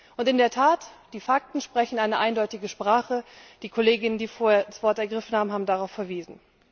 Und in der Tat, die Fakten sprechen eine eindeutige Sprache, die Kollegen, die vorher das Wort ergriffen haben, haben darauf verwiesen.